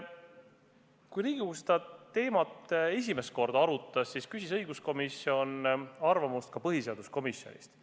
Kui Riigikogu seda teemat esimest korda arutas, siis küsis õiguskomisjon arvamust ka põhiseaduskomisjonilt.